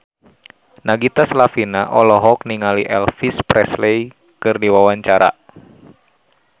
Nagita Slavina olohok ningali Elvis Presley keur diwawancara